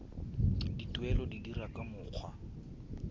dituelo di dirwa ka mokgwa